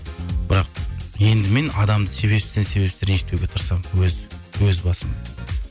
бірақ енді мен адамды себепсізден себепсіз ренжітпеуге тырысамын өз басым